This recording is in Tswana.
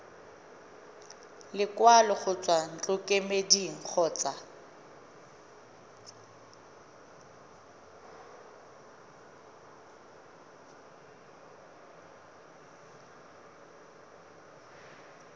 lekwalo go tswa ntlokemeding kgotsa